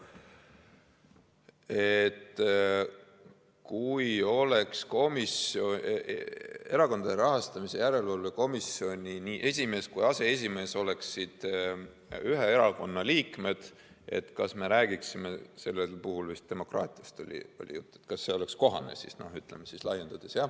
Et kui Erakondade Rahastamise Järelevalve Komisjoni nii esimees kui ka aseesimees oleksid ühe erakonna liikmed, kas me räägiksime sellel puhul, vist demokraatiast oli jutt, et kas see oleks kohane, ütleme siis laiendades.